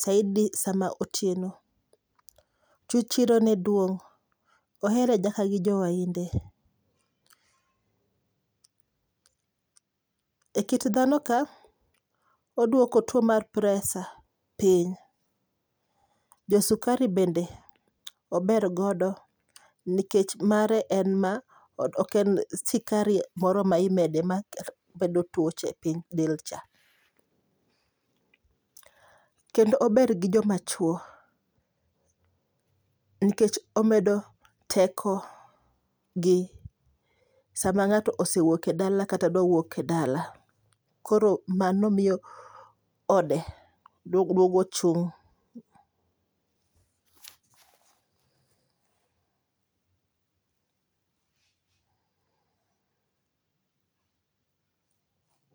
saidi sama otieno. Tichirone duong', ohere nyaka gi jowahinde. E kit dhano ka, oduoko tuo mar presa piny. Josukari bende ober godo, nikech mare en ma oken sukari moro ma imede mabedo tuoche e piny delcha. Kendo ober gi jomachuo, nikech omedo teko gi sama ng'ato osewuok e dala kata dwa wuok e dala. Koro mano miyo ode duogo chung'.